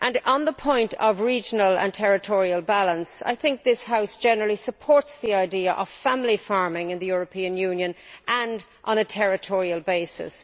On the point of regional and territorial balance, I think this House generally supports the idea of family farming in the European Union and farming on a territorial basis.